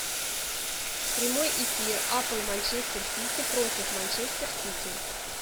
прямой эфир апл манчестер сити против манчестер сити